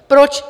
Proč?